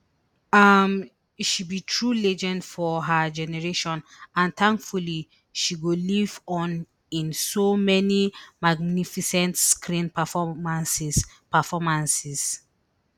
um she be true legend of her generation and tankfully she go live on in so many magnificent screen performances performances